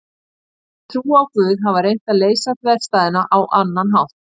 Þeir sem trúa á Guð hafa reynt að leysa þverstæðuna á annan hátt.